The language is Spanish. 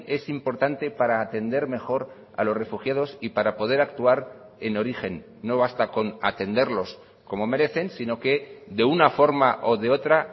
es importante para atender mejor a los refugiados y para poder actuar en origen no basta con atenderlos como merecen sino que de una forma o de otra